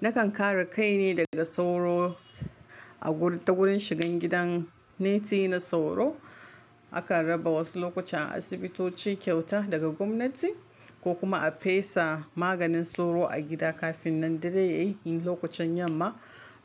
Nakan kare kaine daga sauro a guri ta wurin shigan gidan neti na sauro. Akan raba wasu lokuta a asibitoci kyauta daga gwamnati ko kuma a fesa maganin sauro a gida kafin nan dare yayi. Lokacin yamma